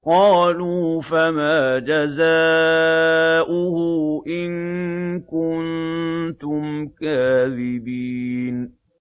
قَالُوا فَمَا جَزَاؤُهُ إِن كُنتُمْ كَاذِبِينَ